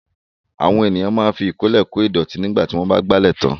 Àwọn ènìyàn máa ń fi ìkọ́lẹ̀ kô ìdọ̀tí lẹ́yìn tí wọ́n bá ìgbálẹ̀ tán.